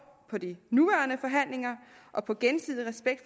på de nuværende forhandlinger og på gensidig respekt